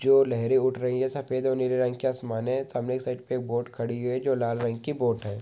जो लहरें उठ रही है सफ़ेद और नीले रंग की आसमान है सामने की साइड पे एक बोट खड़ी है जो लाल रंग की बोट है।